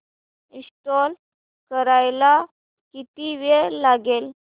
install करायला किती वेळ लागेल